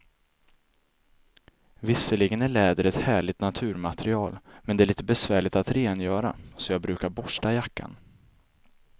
Visserligen är läder ett härligt naturmaterial, men det är lite besvärligt att rengöra, så jag brukar borsta jackan.